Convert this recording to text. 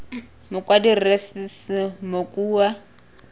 mokwadi rre s s mokua